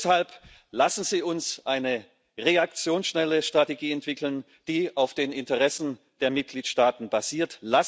Deshalb lassen Sie uns eine reaktionsschnelle Strategie entwickeln, die auf den Interessen der Mitgliedstaaten basiert.